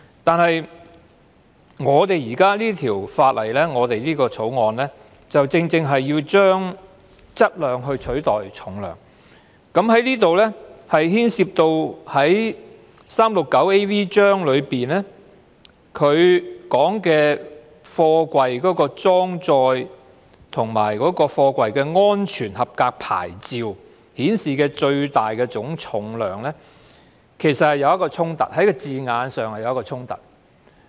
但是，《條例草案》正正是要將"質量"取代"重量"，這裏牽涉第 369AV 章中有關貨櫃的裝載及安全合格牌照顯示的最大總重量，在字眼上是有衝突。